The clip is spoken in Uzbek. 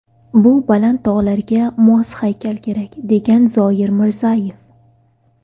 Bu baland tog‘larga mos haykal kerak”, degan Zoir Mirzayev.